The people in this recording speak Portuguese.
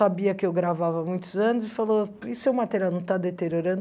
sabia que eu gravava há muitos anos e falou, e seu material não está deteriorando?